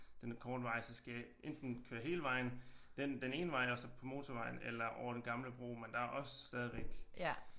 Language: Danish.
Den korte vej så skal jeg enten køre hele vejen den ene vej og så på motorvejen eller over den gamle bro men der er også stadigvæk